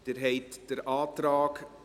Abstimmung (Art. 4 Abs. 2 Bst.